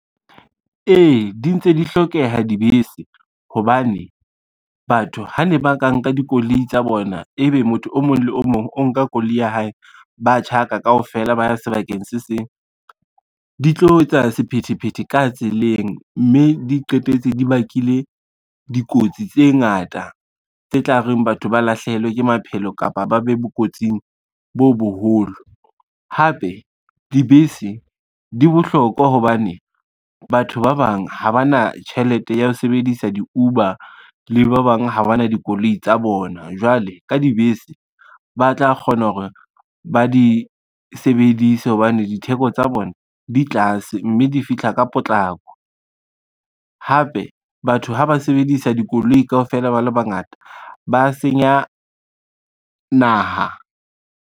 Ee, di ntse di hlokeha dibese hobane, batho ha ne ba ka nka dikoloi tsa bona, ebe motho o mong le o mong o nka koloi ya hae, ba tjhaka kaofela ba sebakeng se seng, di tlo etsa sephethephethe ka tseleng mme di qetetse di bakile dikotsi tse ngata tse tla reng batho ba lahlehelwe ke maphelo kapa ba be bo kotsing bo boholo. Hape dibese di bohlokwa hobane batho ba bang ha ba na tjhelete ya ho sebedisa di-Uber le ba bang ha ba na dikoloi tsa bona, jwale ka dibese, ba tla kgona hore ba di sebedise hobane ditheko tsa bona di tlase, mme di fihla ka potlako. Hape batho ha ba sebedisa dikoloi kaofela ba le bangata ba senya naha.